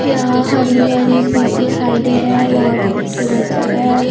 यहां हरी भारी चीज दिखाई दे रहे है बहोत खूबसूरत जगह है।